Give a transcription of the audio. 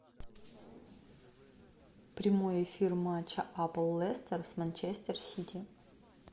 прямой эфир матча апл лестер с манчестер сити